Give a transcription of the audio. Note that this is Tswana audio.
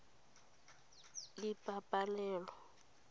ipabalelo